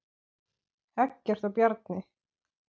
Eggert og Bjarni